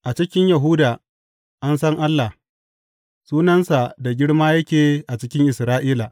A cikin Yahuda an san Allah; sunansa da girma yake a cikin Isra’ila.